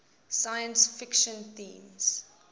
science fiction themes